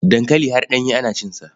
Dankali har ɗanye ana cinsa.